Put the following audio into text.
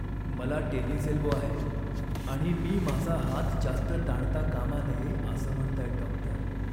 मला tennis elbow आहे आणि मी माझा हात जास्त ताणता कामा नये असं म्हणतायेत डॉक्टर.